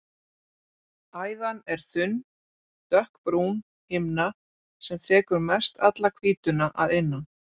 Æðan er þunn, dökkbrún himna sem þekur mestalla hvítuna að innan.